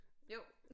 Jo